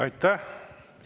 Aitäh!